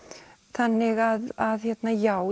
þannig að já